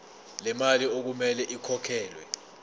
lemali okumele ikhokhelwe